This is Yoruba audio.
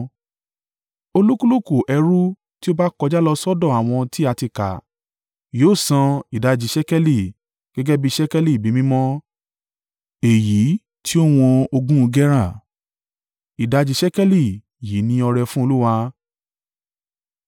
Olúkúlùkù ẹrù tí ó bá kọjá lọ sọ́dọ̀ àwọn tí a ti kà yóò san ìdajì ṣékélì, gẹ́gẹ́ bí ṣékélì ibi mímọ́, èyí tí ó wọn ogún gera. Ìdajì ṣékélì yìí ní ọrẹ fún Olúwa.